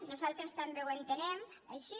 nosaltres també ho entenem així